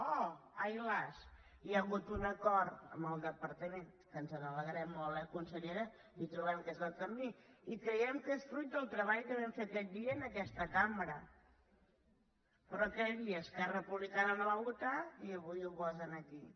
oh ai las hi ha hagut un acord amb el departament que ens n’alegrem molt eh consellera i trobem que és el camí i creiem que és fruit del treball que vam fer aquest dia en aquesta cambra però aquell dia esquerra republicana no va votar i avui ho posen aquí